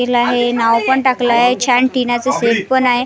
हिला हे नाव पण टाकलं आहे छान टीना चा सेट पण आहे.